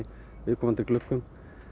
viðkomandi gluggum